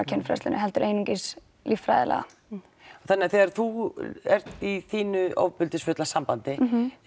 kynfræðslu heldur einungis líffræðilega þannig þegar þú ert í þínu ofbeldisfulla sambandi